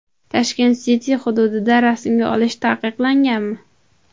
Tashkent City hududida rasmga olish taqiqlanganmi?